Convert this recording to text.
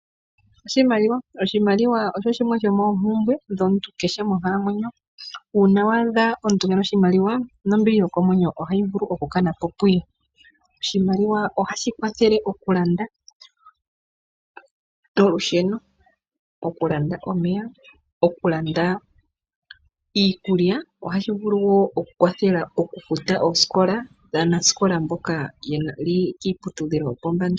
Oshimaliwa osho shimwe shomoompumbwe dhomuntu kehe monkalamwenyo . Uuna waadha omuntu keena oshimaliwa, nombili yokomwenyo okukana po puye. Oshimaliwa ohashi kwathele okulanda olusheno, omeya , iikulya . Ohashi vulu wo okufutila aanasikola mboka yeli kiiputudhilo yopombanda.